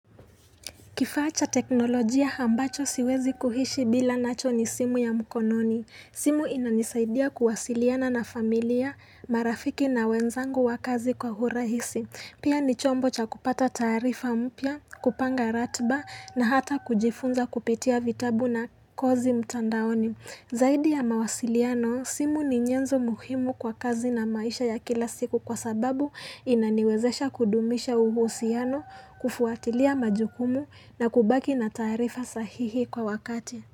Kifaa cha teknolojia hambacho siwezi kuhishi bila nacho ni simu ya mkononi. Simu inanisaidia kuwasiliana na familia, marafiki na wenzangu wakazi kwa urahisi. Pia ni chombo cha kupata taarifa mpya, kupanga ratba na hata kujifunza kupitia vitabu na kozi mtandaoni. Zaidi ya mawasiliano, simu ni nyenzo muhimu kwa kazi na maisha ya kila siku kwa sababu inaniwezesha kudumisha uhusiano, kufuatilia majukumu na kubaki na taarifa sahihi kwa wakati.